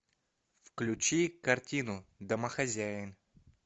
включи картину домохозяин